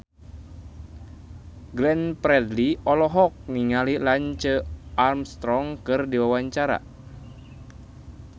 Glenn Fredly olohok ningali Lance Armstrong keur diwawancara